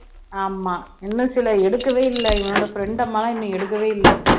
ஆமா இன்னும் சிலர் எடுக்கவே இல்லை இவனோட friend அம்மா எல்லாம் இன்னும் எடுக்கவே இல்லை